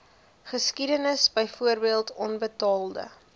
geskiedenis byvoorbeeld onbetaalde